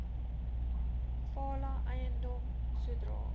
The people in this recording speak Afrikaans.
fala eiendom sodra